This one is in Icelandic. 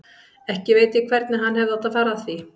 Ekki veit ég hvernig hann hefði átt að fara að því.